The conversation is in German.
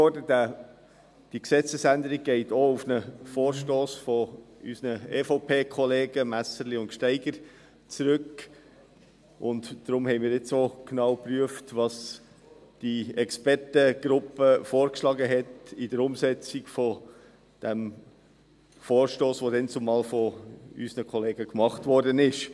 Diese Gesetzesänderung geht auch auf einen Vorstoss unserer EVP-Kollegen Messerli/Gsteiger zurück, und darum haben wir jetzt auch genau geprüft, was diese Expertengruppe in der Umsetzung des Vorstosses, der dazumal von unseren Kollegen gemacht wurde, vorgeschlagen hat.